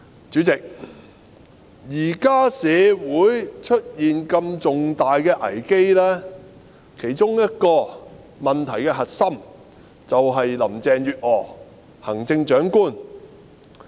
主席，現時社會出現如此重大的危機，問題的其中一個核心便是行政長官林鄭月娥。